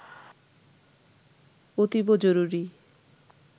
অতীব জরুরি